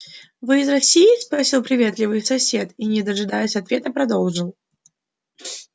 вы из россии спросил приветливый сосед и не дожидаясь ответа продолжил